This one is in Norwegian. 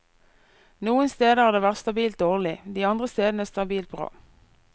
Noen steder har det vært stabilt dårlig, de andre stedene stabilt bra.